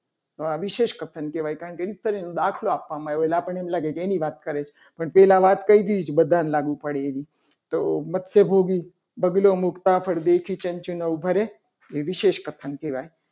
હવે આ વિશેષ દાખલો કહેવાય દાખલો આપવામાં આવે. એટલે આપણને લાગે એની વાત કરે છે. પણ એના પહેલા વાત કરી જ બધાને લાગુ પડે એવી તો મત્સ્ય ભોગી બગલો મુકતા પરદેશી નામ ભરે. એ વિશેષ કથન કહેવાય.